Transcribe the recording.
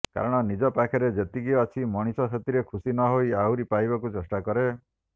କାରଣ ନିଜ ପାଖରେ ଯେତିକି ଅଛି ମଣିଷ ସେଥିରେ ଖୁସି ନହୋଇ ଆହୁରି ପାଇବାକୁ ଚେଷ୍ଟା କରେ